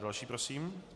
Další prosím.